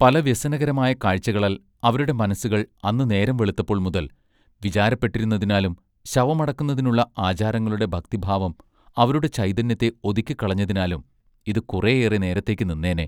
പല വ്യസനകരമായ കാഴ്ചകളാൽ അവരുടെ മനസ്സുകൾ അന്ന് നേരം വെളുത്തപ്പോൾ മുതൽ വിചാരപ്പെട്ടിരുന്നതിനാലും ശവമടക്കുന്നതിനുള്ള ആചാരങ്ങളുടെ ഭക്തി ഭാവം അവരുടെ ചൈതന്യത്തെ ഒതുക്കിക്കളഞ്ഞതിനാലും ഇതു കുറെ ഏറെ നേരത്തേക്ക് നിന്നേനെ.